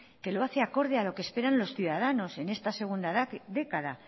que lo hace acorde a lo que esperan los ciudadanos en esta segunda década